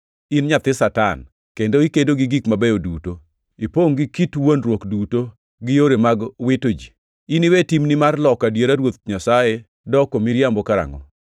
“In nyathi Satan, kendo ikedo gi gik mabeyo duto! Ipongʼ gi kit wuondruok duto gi yore mag wito ji. Iniwe timni mar loko adiera Ruoth Nyasaye doko miriambo karangʼo?